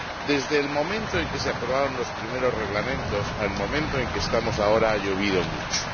Desde el momento en que se aprobaron los primeros Reglamentos hasta el momento en que estamos ahora, ha llovido mucho.